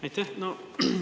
Aitäh!